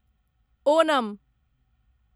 Onam